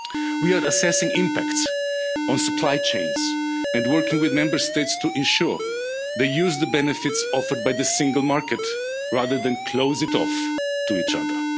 economy. We are assessing the impact on supply chains and working with Member States to ensure that they use the benefits offered by the single market rather than close it off to each